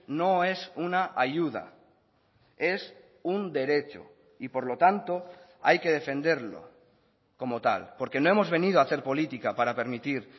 no es una ayuda es un derecho y por lo tanto hay que defenderlo como tal porque no hemos venido a hacer política para permitir